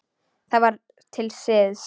Það var til siðs.